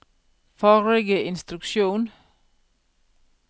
forrige instruksjon